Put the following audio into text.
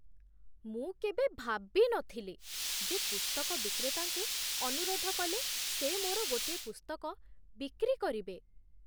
ମୁଁ କେବେ ଭାବିନଥିଲି ଯେ ପୁସ୍ତକ ବିକ୍ରେତାଙ୍କୁ ଅନୁରୋଧ କଲେ ସେ ମୋର ଗୋଟିଏ ପୁସ୍ତକ ବିକ୍ରି କରିବେ!